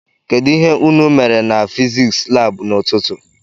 Kedụ ihe unu mere na fiziks lab n'ututu?